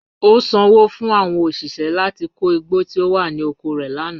O sanwo fun awọn oṣiṣẹ lati ko igbo ti o wa ni oko rẹ lana.